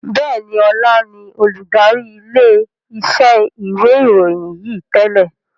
Bẹ́ẹ̀ni, Ọlá ni olùdarí ilé iṣẹ́ ìwé ìròyìn yí tẹ́lẹ̀